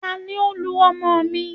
tani o lu ọmọ mi?